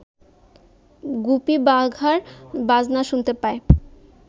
গুপি বাঘার বাজনা শুনতে পায়